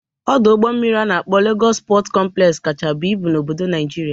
Ọdụ ụgbọ mmiri a na-akpọ Legọs Pọt kọmplex kacha buo ibu n'obodo Naịjirịa.